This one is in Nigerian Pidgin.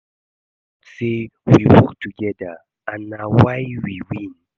I dey thank God say we work together and na why we win